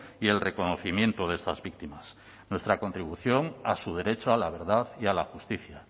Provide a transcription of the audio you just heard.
y el reconocimiento de estas víctimas nuestra contribución a su derecho a la verdad y a la justicia